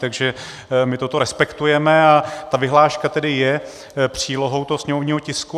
Takže my toto respektujeme a ta vyhláška tedy je přílohou toho sněmovního tisku.